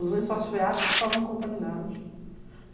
Os lençóis feáticos estavam contaminados.